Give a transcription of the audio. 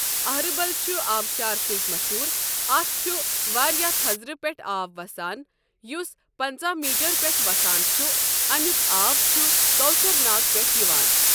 اہربل چھ آبشار سۭتۍ مَشہوٗر اَتھ چھ واریاہ تھزرٕ پؠٹھ آب وسان یس پنٛژاہ میٖٹر پؠٹھ وسان چھ امیُک آب چھ کوثرناگ پؠٹھٕ یوان۔